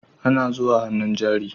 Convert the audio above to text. Ana zuwa hannun jari